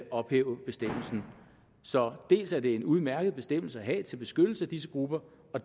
ophæve bestemmelsen så dels er det en udmærket bestemmelse at have til beskyttelse af disse grupper